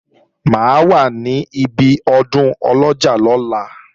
Mà á wà níbi ọdún Ọlọ́jọ́ lọ́la